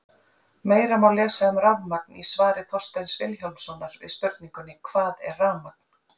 Meira má lesa um rafmagn í svari Þorsteins Vilhjálmssonar við spurningunni Hvað er rafmagn?